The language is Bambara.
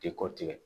Tɛ kɔ tigɛ